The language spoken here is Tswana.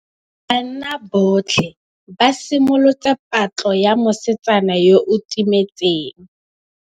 Banna botlhê ba simolotse patlô ya mosetsana yo o timetseng.